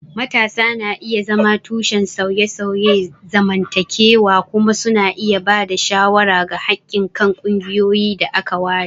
Matasa na iya zama tushen sauye-sauyen zamantakewa kuma suna iya ba da shawara ga haƙƙin kan ƙungiyoyin da aka ware